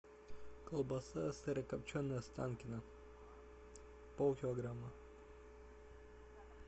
колбаса сырокопченая останкино пол килограмма